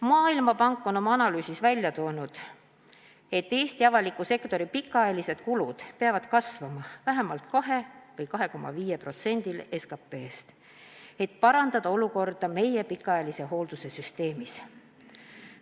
Maailmapank on oma analüüsis välja toonud, et Eesti avaliku sektori pikaajalise hoolduse kulud peavad kasvama vähemalt 2 või 2,5%-ni SKP-st, et parandada olukorda meie pikaajalise hoolduse süsteemis.